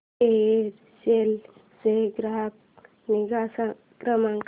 Aircel चा ग्राहक निगा क्रमांक